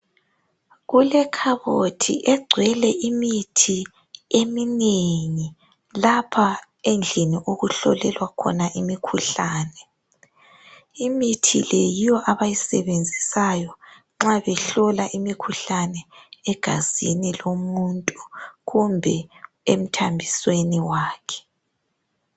Kulekhabothi egcwele imithi eminengi lapha endlini okuhlolelwa khona imikhuhlane. Imithi le yiyo abayisebenzisayo nxa behlola imikhuhlane egazini lomuntu kumbe emthambisweni wakhe.